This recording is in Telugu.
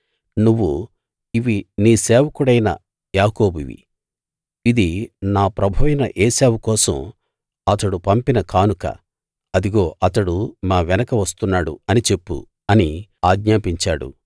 నువ్వు ఇవి నీ సేవకుడైన యాకోబువి ఇది నా ప్రభువైన ఏశావు కోసం అతడు పంపిన కానుక అదిగో అతడు మా వెనక వస్తున్నాడు అని చెప్పు అని ఆజ్ఞాపించాడు